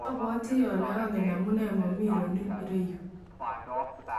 abwatii ale angen amunee momii Ronl yerayuu.